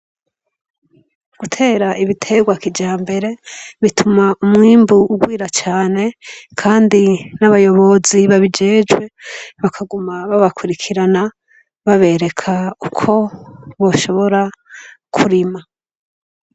Gutera ibiterwa kijambere bituma umwimbu ugwira cane kandi n'abayobozi babijejwe bakaguma babakwirikirana babereka uko boshobora kurima.